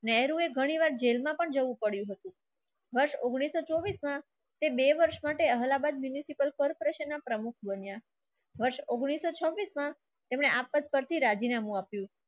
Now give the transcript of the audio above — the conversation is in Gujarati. નહેરુએ ઘણીવાર જેલમાં પણ જવું પડ્યું હતું. સન ઉંગ્નીસ સો ચોબીસ માં તે બે વર્ષ માટે અલ્હાબાદ corporation ના પ્રમુખ બન્યા વર્ષ ઉંગ્નીસ સો છબ્બીસ માં તેમણે આફત પરથી રાજીનામું આપ્યું.